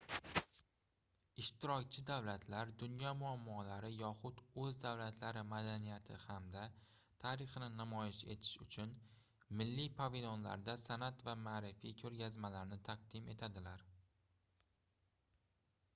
ishtirokchi davlatlar dunyo muammolari yoxud oʻz davlatlari madaniyati hamda tarixini namoyish etish uchun milliy pavilionlarda sanʼat va maʼrifiy koʻrgazmalarni taqdim etadilar